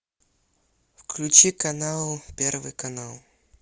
включи канал первый канал